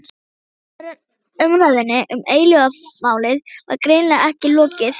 Umræðunni um eilífðarmálið var greinilega ekki lokið.